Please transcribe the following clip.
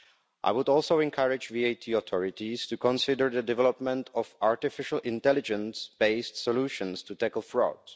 I would also encourage VAT authorities to consider the development of artificial intelligence based solutions to tackle fraud.